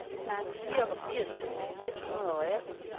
fireogfirs tusind et hundrede og atten